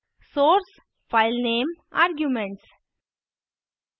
souce filename arguments